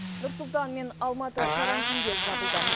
нұр сұлтан мен алматы карантинге жабылды